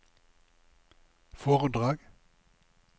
foredrag